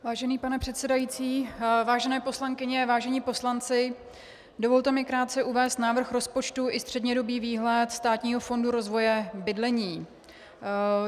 Vážený pane předsedající, vážené poslankyně, vážení poslanci, dovolte mi krátce uvést návrh rozpočtu i střednědobý výhled Státního fondu rozvoje bydlení.